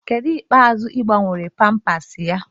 Kedụ mgbe ikpeazụ ị gbanwele pampas ya?